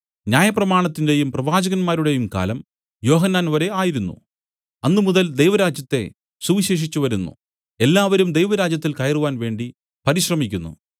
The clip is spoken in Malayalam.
ന്യായപ്രമാണത്തിന്റെയും പ്രവാചകന്മാരുടെയും കാലം യോഹന്നാൻ വരെ ആയിരുന്നു അന്നുമുതൽ ദൈവരാജ്യത്തെ സുവിശേഷിച്ചുവരുന്നു എല്ലാവരും ദൈവരാജ്യത്തിൽ കയറുവാൻ വേണ്ടി പരിശ്രമിക്കുന്നു